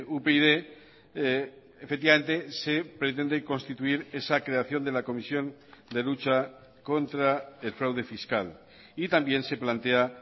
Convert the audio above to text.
upyd efectivamente se pretende constituir esa creación de la comisión de lucha contra el fraude fiscal y también se plantea